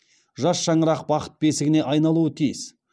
жас шаңырақ бақыт бесігіне айналуы тиіс